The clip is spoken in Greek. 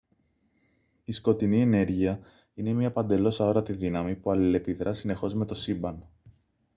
η σκοτεινή ενέργεια είναι μια παντελώς αόρατη δύναμη που αλληλεπιδρά συνεχώς με το σύμπαν